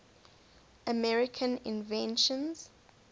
american inventions